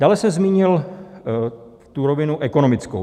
Dále jsem zmínil tu rovinu ekonomickou.